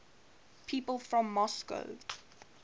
people from moscow